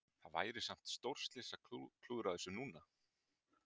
Það væri samt stórslys að klúðra þessu núna?